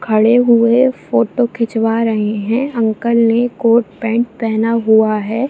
खड़े हुए फोटो खिचवा रहे है। अंकल ने कोट - पेंट पहना हुआ है।